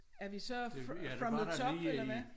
Er vi så from the top eller hvad?